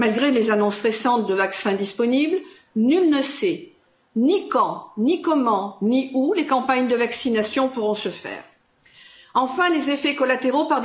Malgré les annonces récentes de vaccin disponible, nul ne sait ni quand, ni comment, ni où les campagnes de vaccination pourront se faire. Enfin, les effets collatéraux.